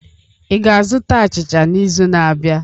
Ị ga-azụta achicha n'izu na-abịa?